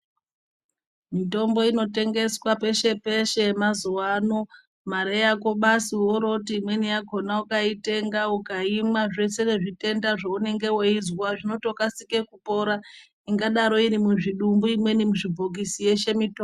Mitombo inotengeswa peshe peshe mazuwaano mare yako basi woro woti imweni yakona ukaitenga ukaimwa zvese zvitenda zvunenge weizwa zvinokasika kupora ingadaro iri muzvidumbu imweni muzvibhokisi yeshe mitombo.